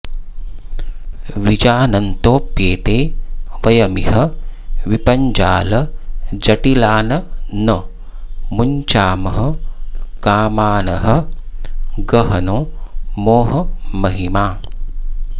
विजानन्तोऽप्येते वयमिह विपज्जालजटिलान् न मुञ्चामः कामानहह गहनो मोहमहिमा